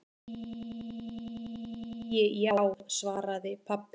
Æi já, svaraði pabbi hennar.